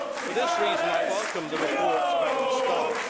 For this reason I welcome the report's balanced stance.